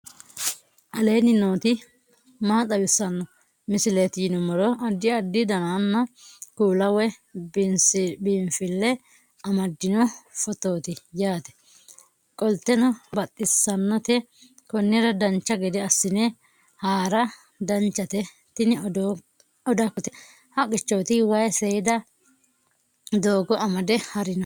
aleenni nooti maa xawisanno misileeti yinummoro addi addi dananna kuula woy biinsille amaddino footooti yaate qoltenno baxissannote konnira dancha gede assine haara danchate tini odakkote haqqichooti wayi seeda doogo amade harino